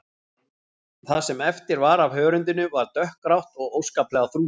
Það sem eftir var af hörundinu var dökkgrátt og óskaplega þrútið.